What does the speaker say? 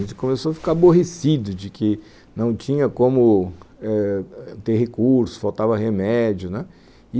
A gente começou a ficar aborrecido de que não tinha como eh ter recurso, faltava remédio, né